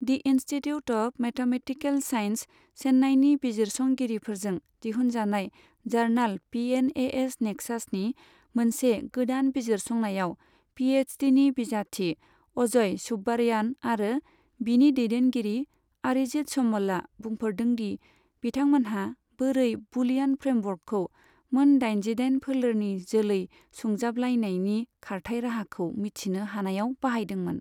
D institute of mathematical sciences, चेन्नाइनि बिजिरसंगिरिफोरजों दिहुनजानाय जार्नाल पिएनएएस नेक्सासनि मोनसे गोदान बिजिरसंनायाव पिएइचडिनि बिजाथि अजय सुब्बारयान आरो बिनि दैदेनगिरि आरिजित समलआ बुंफोरदोंदि बिथांमोनहा बोरै बुलियान फ्रेमवर्कखौ मोन दाइनजिदाइन फोलेरनि जोलै सुंजाबलायनायनि खारथाय राहाखौ मिथिनो हानायाव बाहायदोंमोन।